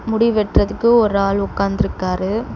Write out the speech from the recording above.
முடி வெட்றதுக்கு ஒரு ஆள் உக்காந்திருக்காரு.